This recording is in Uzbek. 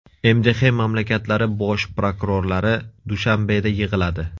MDH mamlakatlari Bosh prokurorlari Dushanbeda yig‘iladi.